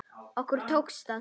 Okkur tókst það.